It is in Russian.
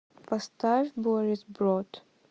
поставь борис брот